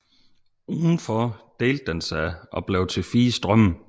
Udenfor delte den sig og blev til fire strømme